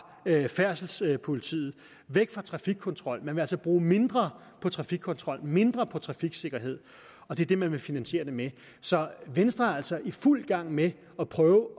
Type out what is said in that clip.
færdselspolitiet væk fra trafikkontrol man vil altså bruge mindre på trafikkontrol mindre på trafiksikkerhed og det er det man vil finansiere det med så venstre er altså i fuld gang med at prøve